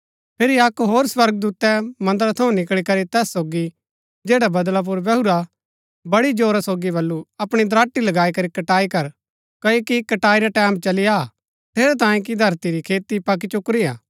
फिरी अक्क होर स्वर्गदूतै मन्दरा थऊँ निकळी करी तैस सोगी जैडा बदळा पुर बैहुरा बड़ी जोरा सोगी बल्लू अपणी दराटी लगाई करी कटाई कर क्ओकि कटाई रा टैमं चली आ हा ठेरैतांये कि धरती री खेती पकी चुकुरी हा